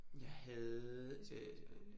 Jeg havde øh